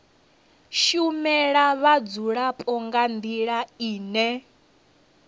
shumela vhadzulapo nga ndila ine